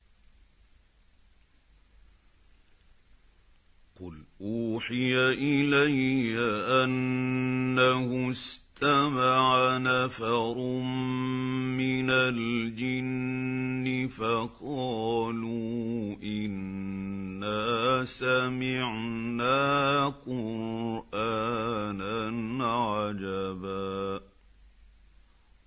قُلْ أُوحِيَ إِلَيَّ أَنَّهُ اسْتَمَعَ نَفَرٌ مِّنَ الْجِنِّ فَقَالُوا إِنَّا سَمِعْنَا قُرْآنًا عَجَبًا